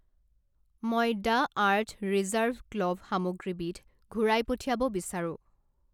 মই the earth reserve clove সামগ্ৰীবিধ ঘূৰাই পঠিয়াব বিচাৰোঁ।